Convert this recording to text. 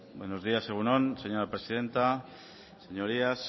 buenos días egun on señora presidenta señorías